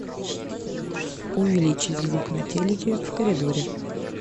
увеличить звук на телике в коридоре